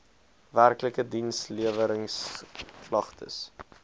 werklike diensleweringsk lagtes